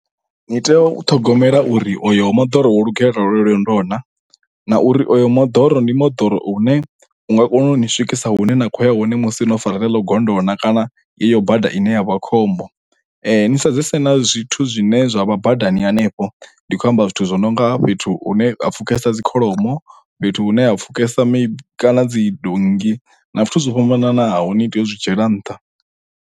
Ni tea u ṱhogomela uri oyo moḓoro wo lugelela lonolo lwendo naa nauri oyo moḓoro ndi moḓoro une u nga kona u ni swikisa hune na khoya hone musi no fara ḽeḽo gondo naa kana yeyo bada ine ya vha khombo ni sedzese na zwithu zwine zwa vha badani hanefho ndi khou amba zwithu zwi nonga fhethu hu ne a pfhukesa dzi kholomo fhethu hune ha pfhukesa kana dzi donngi na zwithu zwo fhambananaho ni tea u zwi dzhiela nṱha.